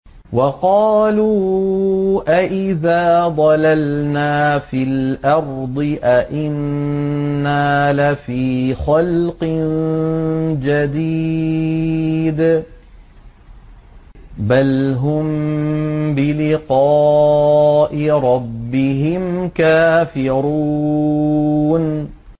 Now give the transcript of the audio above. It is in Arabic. وَقَالُوا أَإِذَا ضَلَلْنَا فِي الْأَرْضِ أَإِنَّا لَفِي خَلْقٍ جَدِيدٍ ۚ بَلْ هُم بِلِقَاءِ رَبِّهِمْ كَافِرُونَ